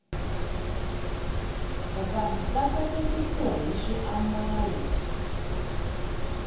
vanhu va sasikiswa hi swiambalo